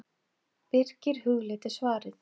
Birkir hugleiddi svarið.